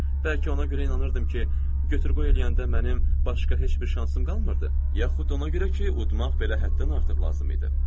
Bəlkə ona görə inanırdım ki, götür-qoy eləyəndə mənim başqa heç bir şansım qalmırdı, yaxud ona görə ki, udmaq belə həddən artıq lazım idi.